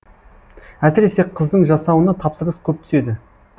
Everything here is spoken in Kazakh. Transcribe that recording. әсіресе қыздың жасауына тапсырыс көп түседі